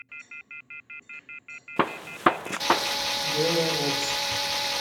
белорецк